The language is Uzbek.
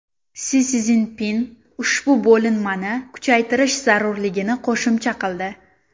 Si Szinpin ushbu bo‘linmani kuchaytirish zarurligini qo‘shimcha qildi.